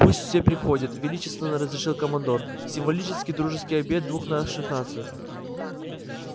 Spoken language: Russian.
пусть все приходят величественно разрешил командор символический дружеский обед двух наших наций